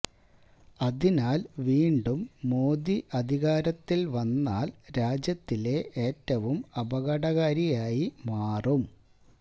അതിനാൽ വീണ്ടും മോദി അധികാരത്തിൽ വന്നാൽ രാജ്യത്തിലെ ഏറ്റവും അപകടകാരിയായി മാറും